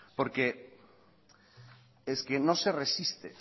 porque es que no se resiste